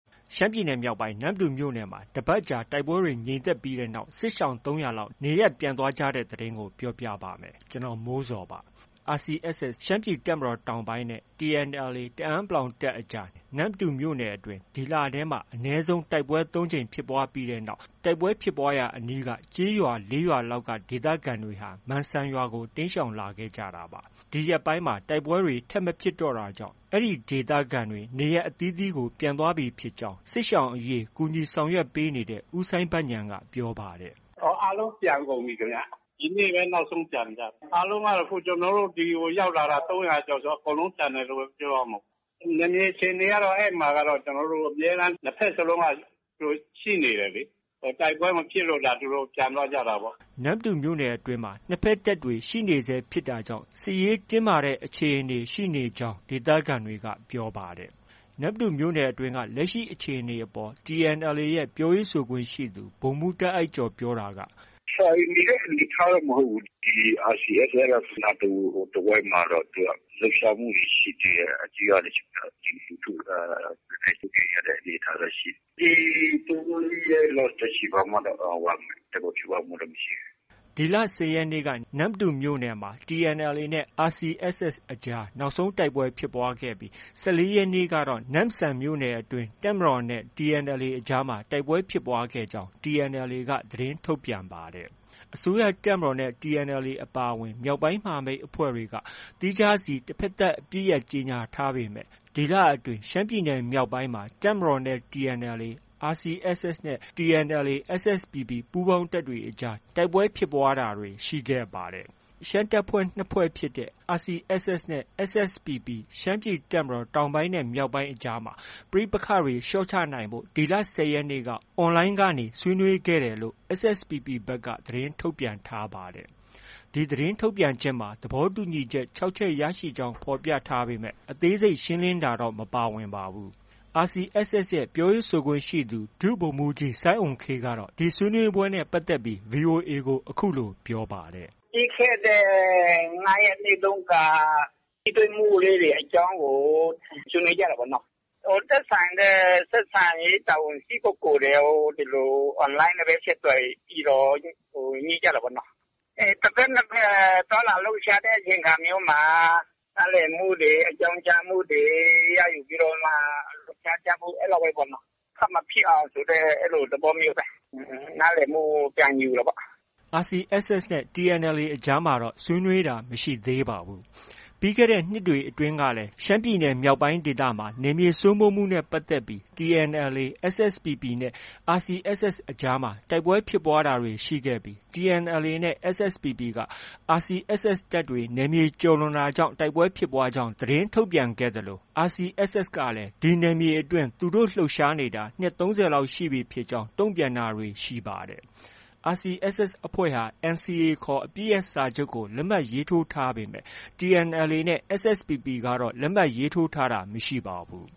ရှမ်းပြည်နယ်မြောက်ပိုင်း နမ္မတူမြို့နယ်မှာ တစ်ပတ်ကြာ တိုက်ပွဲတွေငြိမ်သက်ပြီးတဲ့နောက် စစ်ရှောင် ၃၀၀ လောက် နေရပ်ပြန်သွားကြတဲ့ သတင်းကို ဗွီအိုအေမြန်မာပိုင်း သတင်းထောက် ကိုမိုးဇော်က ပြောပြပါမယ်။ RCSS ရှမ်းပြည်တပ်မတော်တောင်ပိုင်းနဲ့ TNLA တအန်း တပ်အကြား နမ္မတူမြို့နယ်အတွင်း ဒီလထဲမှာ အနည်းဆုံး တိုက်ပွဲ ၃ ကြိမ်ဖြစ်ပွားခဲ့ပြီးတဲ့နောက် တိုက်ပွဲဖြစ်ပွားရာအနီး ကျေးရွာ ၄ ရွာလောက်က ဒေသခံတွေဟာ မန်စံရွာကို တိမ်းရှောင်လာခဲ့ကြတာပါ။ ဒီရက်ပိုင်းမှာ တိုက်ပွဲတွေ ထပ်မဖြစ်တော့တာကြောင့် အဲဒီဒေသခံတွေ နေရပ်အသီးသီးကို ပြန်ကြပြီဖြစ်ကြောင်း စစ်ရှောင်အရေး ကူညီဆောင်ရွက်ပေးနေတဲ့ ဦးစိုင်းဘဉာဏ်က ပြောပါတယ်။ “အားလုံးပြန်ကုန်ပြီခင်ဗျ။ ဒီနေ့ပဲ နောက်ဆုံးပြန်ကြတယ်။ အားလုံးကတော့ ကျနော်တို့ ဒီကိုရောက်လာတာ ၃၀၀ ကျော်ဆိုတော့ အကုန်လုံးပြန်တယ်လို့ပဲ ပြောရမှာပေါ့။ နယ်မြေအခြေအနေကတော့ အဲဒီမှာတော့ ၂ ဘက်စလုံးက ရှိနေတယ်လေ။ တိုက်ပွဲမဖြစ်လို့သာ သူတို့ ပြန်သွားကြတာပေါ့။” နမ္မတူမြို့နယ်အတွင်းမှာ နှစ်ဘက်တပ်တွေ ရှိနေဆဲဖြစ်တာကြောင့် စစ်ရေးတင်းမာတဲ့အခြေအနေရှိနေဆဲဖြစ်ကြောင်း ဒေသခံတွေက ပြောပါတယ်။ နမ္မတူမြို့နယ်အတွင်း လက်ရှိအခြေအနေပေါ် TNLA ပြောရေးဆိုခွင့်ရှိသူ ဗိုလ်မှူးတာ့အိုက်ကျော် ပြောတာကတော့ - “ဆိုင်နေတဲ့ အနေအထားတော့ မဟုတ်ဘူး။ RCSS ကတော့ အဲဒီနားတဝိုက်မှာတော့ လှုပ်ရှားမှုတွေ ရှိသေးတယ်။ ကျေးရွာတချို့မှာ ပြည်သူလူထုက နည်းနည်း စိုးရိမ်ရတဲ့အနေအထားတော့ ရှိတယ်။ ဒီ ၃- ၄ ရက်လောက်တော့ရှိပြီ။ ဘာမှတော့ တိုက်ပွဲဖြစ်ပွားမှု မရှိဘူး။” ဒီလ ၁၀ ရက်နေ့က နမ္မတူမြို့နယ်မှာ TNLA နဲ့ RCSS အကြားနောက်ဆုံး တိုက်ပွဲဖြစ်ပွားခဲ့ပြီး ၁၄ ရက်နေ့ကတော့ နမ့်ဆန်မြို့နယ်အတွင်း တပ်မတော်နဲ့ TNLA အကြားမှာ တိုက်ပွဲဖြစ်ပွားခဲ့ကြောင်း TNLA က သတင်းထုတ်ပြန်ပါတယ်။ အစိုးရတပ်မတော်နဲ့ TNLA အပါအဝင် မြောက်ပိုင်းမဟာမိတ်အဖွဲ့တွေဟာ သီးခြားစီ တဘက်သတ် အပစ်ရပ် ကြေညာထားပေမဲ့ ဒီလအတွင်း ရှမ်းပြည်နယ်မြောက်ပိုင်းမှာ တပ်မတော်နဲ့ TNLA၊ RCSS နဲ့ TNLA၊ SSPP ပူးပေါင်းတပ်တွေအကြား တိုက်ပွဲဖြစ်ပွားတာတွေ ရှိခဲ့ပါတယ်။ ရှမ်းတပ်ဖွဲ့နှစ်ဖွဲ့ဖြစ်တဲ့ RCSS နဲ့ SSPP ရှမ်းပြည်တပ်မတော် တောင်ပိုင်းနဲ့ မြောက်ပိုင်းအကြားမှာ ပဋိပက္ခတွေ လေ ျှာ့ချနိုင်ဖို့အတွက် ဒီလ ၁၀ ရက်နေ့က Online ကနေ ဆွေးနွေးခဲ့တယ်လို့ SSPP ဘက်က သတင်းထုတ်ပြန်ထားပါတယ်။ ဒီသတင်းထုတ်ပြန်ချက်မှာ သဘောတူညီချက် ၆ ချက် ရရှိကြောင်း ဖော်ပြထားပေမဲ့ အသေးစိတ်ရှင်းလင်းထားတာတော့ မပါဝင်ပါဘူး။ RCSS ရဲ့ ပြောရေးဆိုခွင့်ရှိသူ ဒုဗိုလ်မှူးကြီးအုမ်ခေးကတော့ ဒီဆွေးနွေးပွဲနဲ့ ပတ်သက်ပြီး VOA ကို အခုလို ပြောပါတယ်။ “ပြီးခဲ့တဲ့ ၅ ရက်နေ့တုန်းက ထိတွေ့မှုအကြောင်းကို ဆွေးနွေးကြတာပေါ့နော်။ သက်ဆိုင်တဲ့ တာဝန်ရှိ ပုဂ္ဂိုလ်တွေ ဒီလို Online ကနေပဲ တွေ့ပြီးတော့ ညှိကြတာပေါ့။ တဘက်နဲ့တဘက် သွားလာလှုပ်ရှားတဲ့အချိန်အခါမျိုးမှာ နားလည်မှုတွေ အကြောင်းကြားမှုတွေ ရယူပြီးမှ သွားကြဖို့ အဲဒီလောက်ပဲပေါ့နော။ ထပ်မဖြစ်အောင် အဲဒီလိုသဘောမျိုးပဲ။ နားလည်မှု ပြန်ယူတာပေါ့။” RCSS နဲ့ TNLA အကြားမှာတော့ ဆွေးနွေးတာမရှိသေးပါဘူး။ ပြီးခဲ့တဲ့နှစ်တွေအတွင်းကလည်း ရှမ်းပြည်နယ်မြောက်ပိုင်းဒေသမှာ နယ်မြေစိုးမိုးမှုနဲ့ ပတ်သက်ပြီး TNLA၊ SSPP နဲ့ RCSS အကြားမှာ တိုက်ပွဲဖြစ်တာတွေရှိခဲ့ပြီး TNLA နဲ့ SSPP က RCSS တပ်တွေနယ်မြေ ကျော်လွန်တာကြောင့် တိုက်ပွဲဖြစ်ပွားကြောင်း သတင်းထုတ်ပြန်သလို RCSS ကလည်း ဒီနယ်မြေအတွင်း သူတို့ လှုပ်ရှားနေတာ နှစ် ၃၀ လောက်ရှိပြီဖြစ်ကြောင်း တုံ့ပြန်တာတွေ ရှိပါတယ်။ RCSS အဖွဲ့ဟာ NCA ခေါ် အပစ်ရပ်စာချုပ်ကို လက်မှတ်ရေးထိုးထားပေမဲ့ TNLA နဲ့ SSPP ကတော့ လက်မှတ်ရေးထိုးတာမရှိပါဘူး